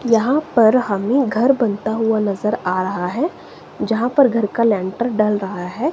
यहां पर हमें घर बनता हुआ नजर आ रहा है जहां पर घर का लेंटर डल रहा है।